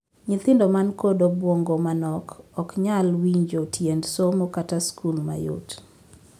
Nyithindo man kod obuongo ma nok ok nyal winjo tiend somo kata skul mayot.